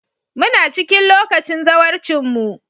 Muna cikin lokacin zawarcinmu.